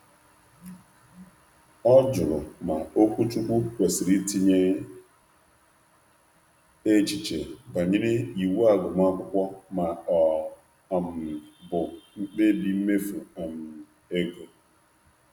um Ọ jụrụ ma okwuchukwu kwesịrị um itinye echiche banyere um iwu agụmakwụkwọ ma ọ bụ mkpebi mmefu ego.